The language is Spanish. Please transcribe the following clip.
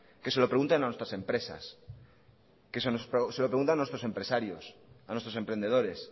que se lo pregunten a nuestra empresas que se lo pregunten a nuestros empresarios a nuestros emprendedores